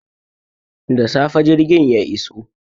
Da safe jirgin ya iso.